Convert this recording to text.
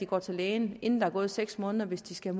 går til lægen inden der er gået seks måneder hvis de skal